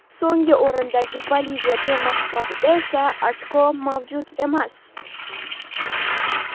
So‘nggi o‘rindagi Boliviya termasi hisobida esa ochko mavjud emas.